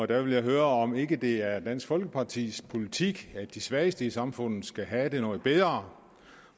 der vil jeg høre om ikke det er dansk folkepartis politik at de svageste i samfundet skal have det noget bedre